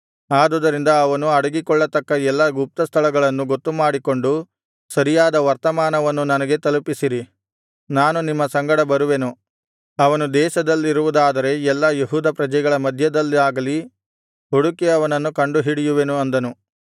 ಆದುದರಿಂದ ಅವನು ಅಡಗಿಕೊಳ್ಳತಕ್ಕ ಎಲ್ಲಾ ಗುಪ್ತಸ್ಥಳಗಳನ್ನು ಗೊತ್ತುಮಾಡಿಕೊಂಡು ಸರಿಯಾದ ವರ್ತಮಾನವನ್ನು ನನಗೆ ತಲುಪಿಸಿರಿ ನಾನು ನಿಮ್ಮ ಸಂಗಡ ಬರುವೆನು ಅವನು ದೇಶದಲ್ಲಿರುವುದಾದರೆ ಎಲ್ಲಾ ಯೆಹೂದ ಪ್ರಜೆಗಳ ಮಧ್ಯದಲ್ಲಾಗಲಿ ಹುಡುಕಿ ಅವನನ್ನು ಕಂಡುಹಿಡಿಯುವೆನು ಅಂದನು